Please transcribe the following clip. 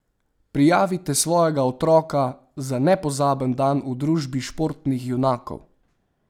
Prijavite svojega otroka za nepozaben dan v družbi športnih junakov!